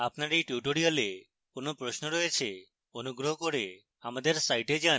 আপনার এই tutorial কোনো প্রশ্ন রয়েছে অনুগ্রহ করে আমাদের সাইটে যান